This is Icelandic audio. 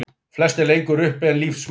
Flest er lengur uppi en líf manns.